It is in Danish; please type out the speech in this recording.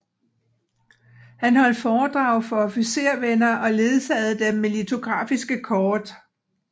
Han holdt foredrag for officervenner og ledsagede dem med litografiske kort